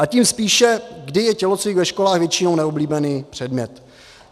A tím spíše, kdy je tělocvik ve školách většinou neoblíbený předmět.